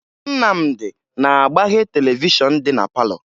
Nnamdị na-agbaghe televishọn dị na palọ